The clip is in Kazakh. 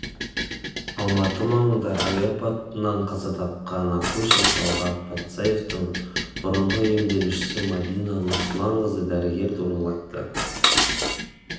алматы маңында әуе апатынан қаза тапқан акушер талғат патсаевтың бұрынғы емделушісі мәдина нұрсұланқызы дәрігер туралы айтты